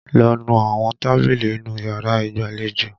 Lọ nu àwọn tábìlì inú yàrá ìgbàlejò!